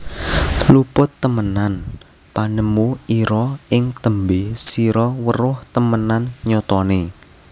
Luput temenan panemu ira ing tembe sira weruh temenan nyatane